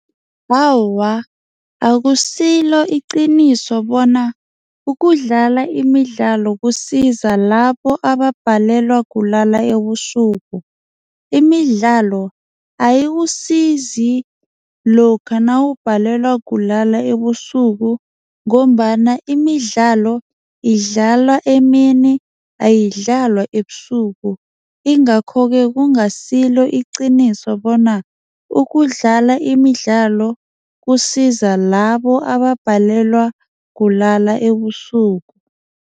Awa, akusilo iqiniso bona ukudlala imidlalo kusiza labo ababhalelwa kulalela ebusuku, imidlalo ayikusizi lokha nawubhalelwa kulala ebusuku ngombana imidlalo idlalwa emini, ayidlalwa ebusuku ingakho ke kungasilo iqiniso bona ukudlala imidlalo kusiza labo ababhalelwa kulala ebusuku.